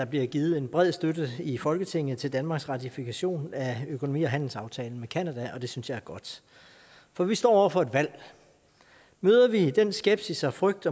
bliver givet en bred støtte i folketinget til danmarks ratifikation af økonomi og handelsaftalen med canada og det synes jeg er godt for vi står over for et valg møder vi den skepsis og frygt